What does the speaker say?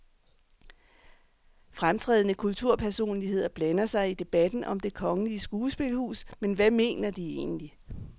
Fremtrædende kulturpersonligheder blander sig i debatten om det kongelige skuespilhus, men hvad mener de egentlig.